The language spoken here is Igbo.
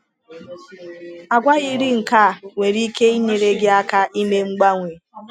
Àgwà yiri nke a nwere ike inyere gị aka ime mgbanwe.